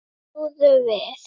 Snúðu við!